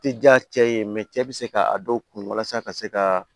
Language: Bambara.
Tɛ diya cɛ ye cɛ bɛ se ka a dɔw kun walasa ka se ka